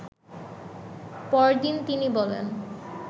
পরদিন তিনি বলেন